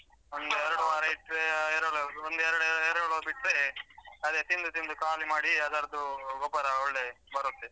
ಒಂದ್ ಎರಡು ವಾರ ಇಟ್ಟ್ರೆ ಎರೆಹುಳ ಒಂದ್ ಎರಡು ಎರೆಹುಳ ಬಿಟ್ಟ್ರೆ ಅದೆ ತಿಂದು ತಿಂದು ಖಾಲಿ ಮಾಡಿ ಅದ್ರದ್ದು ಗೊಬ್ಬರ ಒಳ್ಳೆ ಬರುತ್ತೆ.